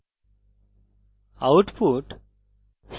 output